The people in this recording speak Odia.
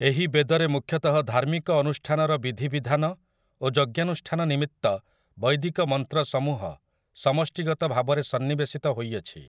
ଏହି ବେଦରେ ମୁଖ୍ୟତଃ ଧାର୍ମିକ ଅନୁଷ୍ଠାନର ବିଧିବିଧାନ ଓ ଯଜ୍ଞାନୁଷ୍ଠାନ ନିମିତ୍ତ ବୈଦିକ ମନ୍ତ୍ର ସମୂହ ସମଷ୍ଟିଗତ ଭାବରେ ସନ୍ନିବେଶିତ ହୋଇଅଛି ।